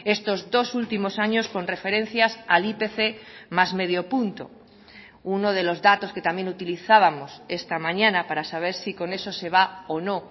estos dos últimos años con referencias al ipc más medio punto uno de los datos que también utilizábamos esta mañana para saber si con eso se va o no